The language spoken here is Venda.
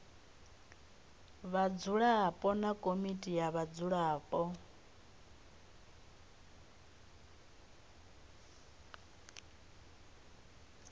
vhadzulapo na komiti ya vhadzulapo